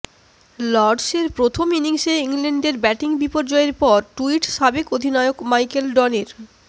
লর্ডসের প্রথম ইনিংসে ইংল্যান্ডের ব্যাটিং বিপর্যয়ের পর টুইট সাবেক অধিনায়ক মাইকেল ভনের